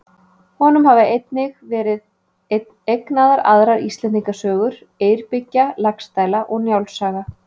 Honum hafa einnig verið eignaðar aðrar Íslendingasögur: Eyrbyggja, Laxdæla og Njáls saga.